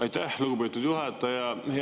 Aitäh, lugupeetud juhataja!